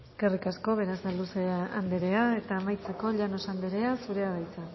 eskerrik asko eskerrik asko berasaluze anderea eta amaitzeko llanos anderea zurea da hitza